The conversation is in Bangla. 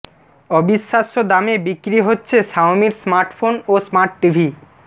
অবিশ্বাস্য দামে বিক্রি বচ্ছে শাওমির স্মার্টফোন ও স্মার্ট টিভি